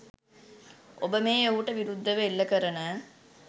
ඔබ මේ ඔහුට විරුද්ධව එල්ල කරන